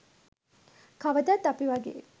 කවදත් අපි වගේ